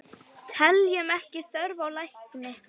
Teljum ekki þörf á lækni!